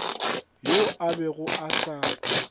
yoo a bego a sa